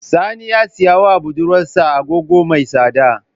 Sani ya siya wa budurwar sa Agogo mai tsada